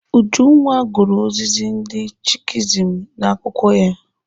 Ujunwa gụrụ ozizi ndị Skihism n'akwụkwọ ya.